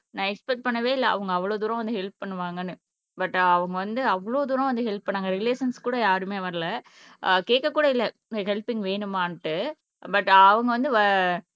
நான் எக்ஸ்பெக்ட் பண்ணவே இல்ல அவங்க அவ்வளவு தூரம் வந்து ஹெல்ப் பண்ணுவாங்கன்னு பட் அவங்க வந்து அவ்வளவு தூரம் வந்து ஹெல்ப் பண்ணாங்க ரெகுலேஷன்ஸ் கூட யாருமே வரல கேட்க கூட இல்லை ஹெல்பிங் வேணுமான்னு பட் அவங்க வந்து